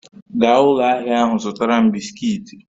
Gaa ụlọ ahịa ahụ zụtara m bisikiiti